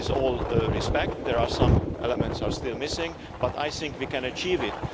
With all due respect, some elements are still missing, but I think we can achieve it.